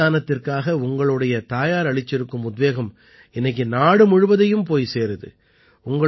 அங்க தானத்திற்காக உங்களோட தாயார் அளிச்சிருக்கும் உத்வேகம் இன்னைக்கு நாடு முழுவதையும் போய் சேருது